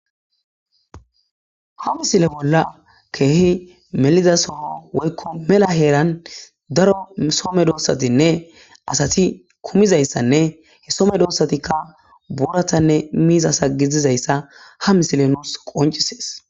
Ha misile bolla keehi meliza soho woykko mela heeran daro soo medoossatinne asati kumizayssanne he so medosatikka booratanne miizasa gizizayssa ha misile nuus qonccisees.